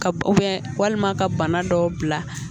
Ka walima ka bana dɔw bila